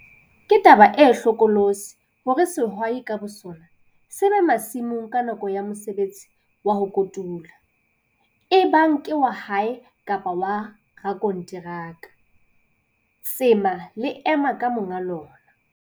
Ke taba e hlokolosi hore sehwai ka bosona se be masimong nakong ya mosebetsi wa ho kotula, ebang ke wa hae kapa wa rakonteraka. Tsema le ema ka monga lona!